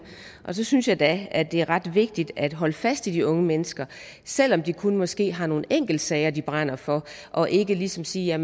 og så synes jeg da at det er ret vigtigt at holde fast i de unge mennesker selv om de kun måske har nogle enkeltsager de brænder for og ikke ligesom sige at